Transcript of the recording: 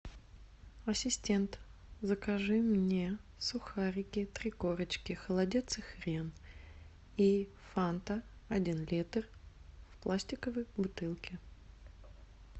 ассистент закажи мне сухарики три корочки холодец и хрен и фанта один литр в пластиковой бутылке